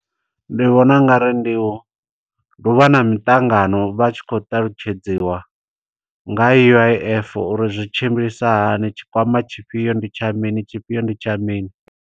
Ndi vhona ungari ndi u, ndi uvha na miṱangano vha tshi khou ṱalutshedziwa nga U_I_F, uri zwi tshimbilisa hani. Tshikwama tshifhio ndi tsha mini, tshifhio ndi tsha mini.